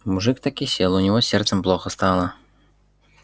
мужик так и сел у него с сердцем плохо стало